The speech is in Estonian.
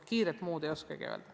Kiirelt ei oskagi muud öelda.